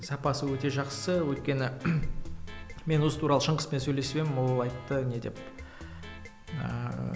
сапасы өте жақсы өйткені мен осы туралы шыңғыспен сөйлесіп едім ол айтты не деп ыыы